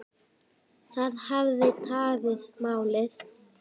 Það hafi tafið málið.